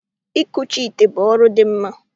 Ikuchi ite bụ ọrụ dị mma